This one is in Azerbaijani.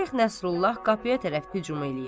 Şeyx Nəsrullah qapıya tərəf hücum eləyir.